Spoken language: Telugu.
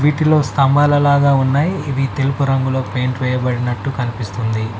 వీటిలో స్తంభాల లాగా ఉన్నాయి ఇవి తెలుపు రంగులో పెయింట్ వేయబడినట్టు కనిపిస్తుంది.